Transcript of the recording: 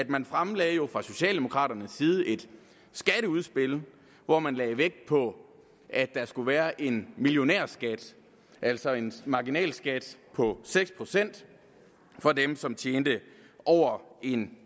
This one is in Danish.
man fremlagde jo fra socialdemokraternes side et skatteudspil hvor man lagde vægt på at der skulle være en millionærskat altså en marginalskat på seks procent for dem som tjente over en